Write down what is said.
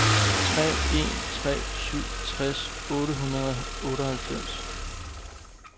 tre en tre syv tres otte hundrede og otteoghalvfems